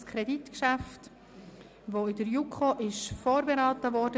Es ist ein Kreditgeschäft, welches von der JuKo vorberaten wurde.